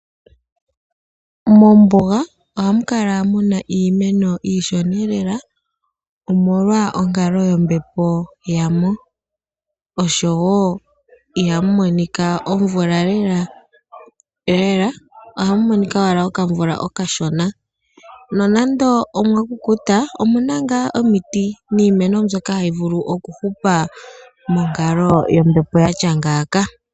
Mombuga ohamu kala muna iimeno iishona lela omolwa onkalo yombepo ya mo osho wo ihamu monika omvula lela ohamu monika owala okamvula okashona. Nonando omwa kukuta omuna ngaa omiti niimeno mbyoka hayi vulu okuhupa monkalo yombepo ya tya ngaaka.